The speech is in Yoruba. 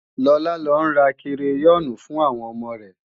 Lọlá ń lọ ra kireyọ́ọ̀nì fún àwọn ọmọ rẹ